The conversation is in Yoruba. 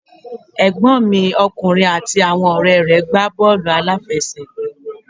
Ẹ̀gbọ́n mi ọkùnrin àti àwọn ọ̀rẹ́ rẹ̀ gbá bọ́wlù àfẹsẹ̀gbá